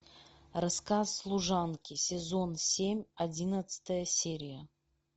рассказ служанки сезон семь одиннадцатая серия